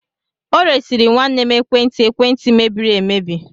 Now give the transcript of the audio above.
O resịrị nwanne m ekwentị ekwentị mebiri emebi